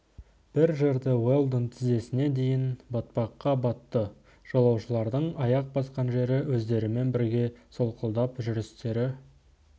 бір жерде уэлдон тізесіне дейін батпаққа батты жолаушылардың аяқ басқан жері өздерімен бірге солқылдап жүрістері